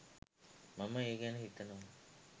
මම ඒ ගැන හිතනව